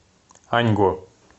аньго